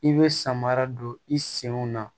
I bɛ samara don i senw na